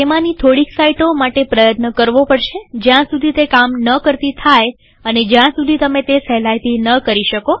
તેમાંની થોડીક સાઈટો માટે પ્રયત્ન કરવો પડશે જ્યાં સુધી તે કામ ન કરતી થાય અને જ્યાં સુધી તમે તે સહેલાઈથી ન કરી શકો